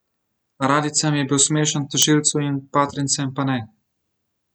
Radijcem je bil smešen, tožilcu in partijcem pa ne.